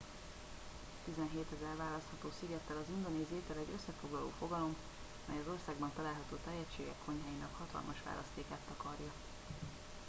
17.000 választható szigettel az indonéz étel egy összefoglaló fogalom mely az országban található tájegységek konyháinak hatalmas választékát takarja